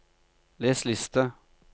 les liste